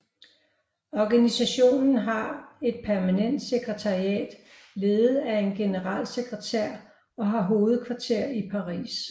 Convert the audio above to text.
Organisationen har et permanent sekretariat ledet af en generalsekretær og har hovedkvarter i Paris